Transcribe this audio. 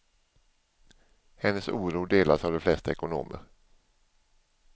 Hennes oro delas av de flesta ekonomer.